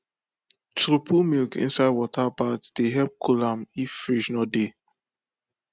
to put milk inside water bath dey help cool am if fridge no dey